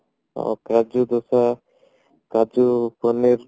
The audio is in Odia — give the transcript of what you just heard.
ଆ କାଜୁ ଦୋସା କାଜୁ ପନୀର